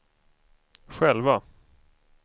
själva